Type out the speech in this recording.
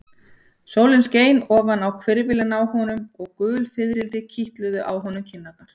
Sólin skein ofan á hvirfilinn á honum og gul fiðrildi kitluðu á honum kinnarnar.